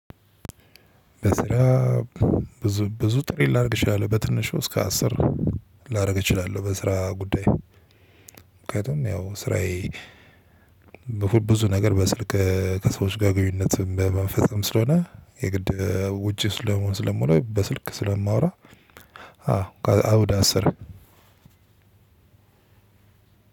በስራ ብዙ ብዙ ጥሪ ላድርግ እችላለሁ በትንሹ እስከ አስር ላድርግ እችላለሁ በስራ ጉዳይ። ምክንያቱም ያው ስራዬ በፉት ብዙ ነገር በስልክ ከሰዎች ጋር ግንኙነትም በመንፈስም ስለሆነ የግድ ውጪ ስለምሆን ስለምሆን በስልክ ስለማወራ። አዎ አዎ ዳስር።